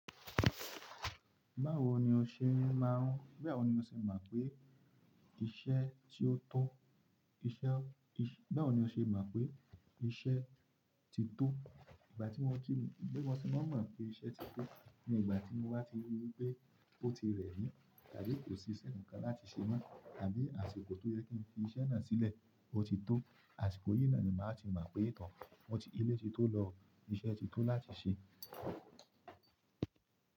Báwo ni o ṣe máà ń, báwo ni o ṣe mọ̀ pé iṣẹ́ ti ó tọ́, iṣẹ́, báwo ni o ṣe mọ̀ pé iṣẹ́ ti tó? Ìgbà tí mo kí n, bí mo ti máa mọ̀ pé iṣẹ́ ti tó ni ìgbà tí mo bá ti rí pé ó ti rẹ̀ mí, tàbí kò sí iṣẹ́ nǹkan láti ṣe mọ́, àbí àsìkò tó yẹ kí n fi iṣẹ́ náà sílẹ̀ ó ti tó, àsìkò yìí náà ni màá ti mọ̀ pé ìtàn máa ti lé tí ó lọ, iṣẹ́ ti tó láti ṣe.